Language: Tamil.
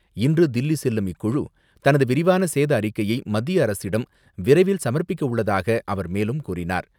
இன்று தில்லி செல்லும் இக்குழு, தனது விரிவான சேத அறிக்கையை மத்திய அரசிடம் விரைவில் சமர்ப்பிக்கவுள்ளதாக அவர் மேலும் கூறினார்.